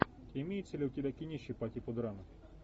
имеется ли у тебя кинище по типу драмы